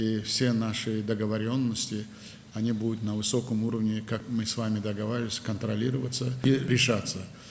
Və bütün razılaşmalarımız, sizinlə razılaşdığımız kimi, yüksək səviyyədə nəzarət ediləcək və həll olunacaq.